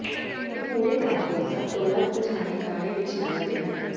ਉਹ ਪੂਰੇ ਕੰਮ ਵਿੱਚ ਸਭ ਤੋਂ ਵੱਧ ਪਛਾਣੇ ਗਾਣੇ ਵਿੱਚ ਨੱਚਦੇ ਹਨ